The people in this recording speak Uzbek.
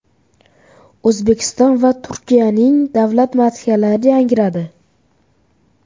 O‘zbekiston va Turkiyaning davlat madhiyalari yangradi.